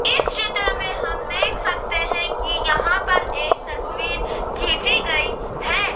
इस चित्र में हम देख सकते हैं कि यहां पर एक तस्वीर खींची गई है।